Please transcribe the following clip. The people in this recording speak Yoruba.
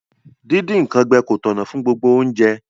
Díndín nkan gbẹ ko tọ̀nà fun gbogbo ounje